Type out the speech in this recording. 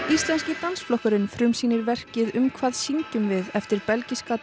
íslenski dansflokkurinn frumsýnir verkið um hvað syngjum við eftir belgíska